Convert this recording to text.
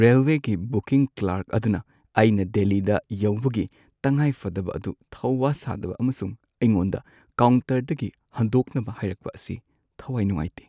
ꯔꯦꯜꯋꯦꯒꯤ ꯕꯨꯀꯤꯡ ꯀꯂꯔꯛ ꯑꯗꯨꯅ ꯑꯩꯅ ꯗꯦꯜꯂꯤꯗ ꯌꯧꯕꯒꯤ ꯇꯉꯥꯏꯐꯗꯕ ꯑꯗꯨ ꯊꯧꯋꯥ ꯁꯥꯗꯕ ꯑꯃꯁꯨꯡ ꯑꯩꯉꯣꯟꯗ ꯀꯥꯎꯟꯇꯔꯗꯒꯤ ꯍꯟꯗꯣꯛꯅꯕ ꯍꯥꯏꯔꯛꯄ ꯑꯁꯤ ꯊꯋꯥꯏ ꯅꯨꯡꯉꯥꯏꯇꯦ ꯫